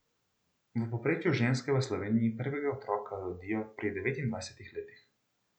V povprečju ženske v Sloveniji prvega otroka rodijo pri devetindvajsetih letih.